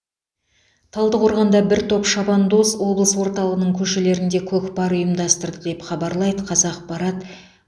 талдықорғанда бір топ шабандоз облыс орталығының көшелерінде көкпар ұйымдастырды деп хабарлайды қазақпарат